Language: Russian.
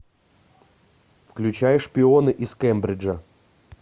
включай шпионы из кембриджа